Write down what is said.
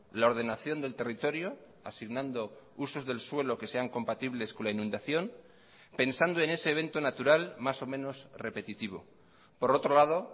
la ordenación del territorio asignando usos del suelo que sean compatibles con la inundación pensando en ese evento natural más o menos repetitivo por otro lado